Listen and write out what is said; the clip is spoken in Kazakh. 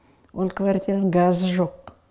ол квартираның газы жоқ